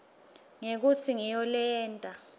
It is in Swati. ngekutsi ngiyo leyenta